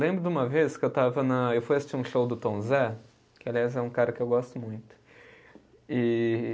Lembro de uma vez que eu estava na, eu fui assistir um show do Tom Zé, que aliás é um cara que eu gosto muito. E